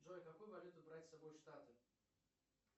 джой какую валюту брать с собой в штаты